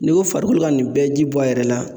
N'i ko farikolo ka nin bɛɛ jibɔ a yɛrɛ la